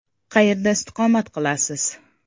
Qayerda istiqomat qilasiz?